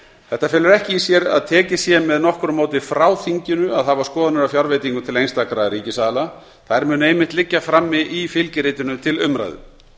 þetta felur ekki í sér að tekið sé með nokkru móti frá þinginu að hafa skoðanir á fjárveitingum til einstakra ríkisaðila þær munu einmitt liggja frammi í fylgiritinu til umræðu